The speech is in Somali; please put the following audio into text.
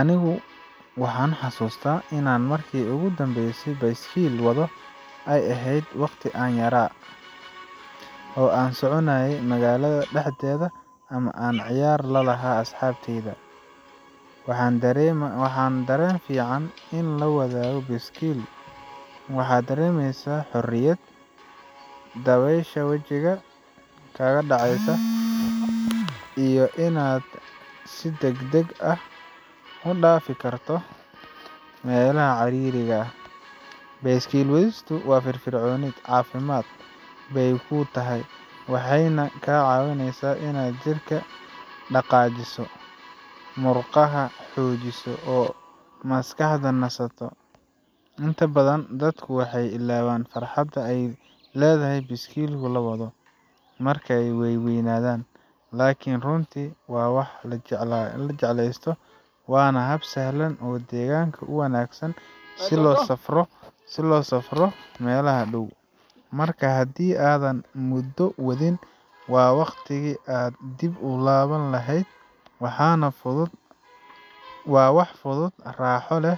Anigu waxaan xasuustaa inaan markii ugu dambeysay baaskiil wado ay ahayd waqti aan yara , oo aan soconayay magaalada dhexdeeda ama aan ciyaar la lahaa asxaabtayda. Waa dareen fiican in la wado baaskiil waxaad dareemeysaa xorriyad, dabaysha wajiga kaa dhacaysa, iyo inaad si degdeg ah u dhaafi karto meelaha ciriiriga ah. Baaskiil wadistu waa firfircooni, caafimaad bay kuu tahay, waxayna kaa caawisaa inaad jirka dhaqaajiso, murqaha xoojiso, oo aad maskaxda nasato. Inta badan dadku waxay ilaawaan farxadda ay leedahay baaskiil l wado markay waaweynaadaan, laakiin runtii waa wax la jecleysto, waana hab sahlan oo deegaanka u wanaagsan si loo safro meelaha dhow. Marka, haddii aadan muddo wadin, waa waqtigii aad dib u bilaabi lahayd. Waa wax fudud, raaxo leh,